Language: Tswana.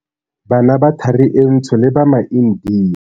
Bana ba Thari e Ntsho le ba maIndia.